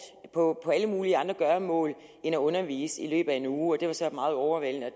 på alle mulige andre gøremål end at undervise i løbet af en uge det var så meget overvældende og